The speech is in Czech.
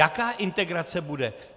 Jaká integrace bude?